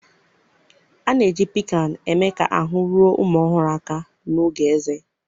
a na-eji piccan eme ka ahụ́ ruo ụmụ ọhụrụ aka n'oge ezé